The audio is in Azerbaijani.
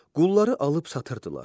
Qulları alıb satırdılar.